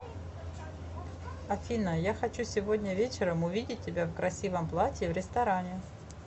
афина я хочу сегодня вечером увидеть тебя в красивом платье в ресторане